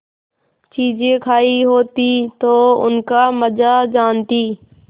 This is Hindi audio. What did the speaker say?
चीजें खायी होती तो उनका मजा जानतीं